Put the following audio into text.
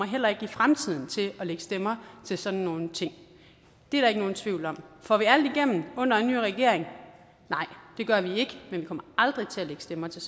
heller ikke i fremtiden kommer til at lægge stemmer til sådan nogle ting det er der ikke nogen tvivl om får vi alt igennem under en ny regering nej det gør vi ikke men vi kommer aldrig til at lægge stemmer til